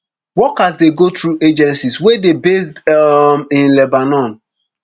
workers dey go through agencies wey deybased um in lebanon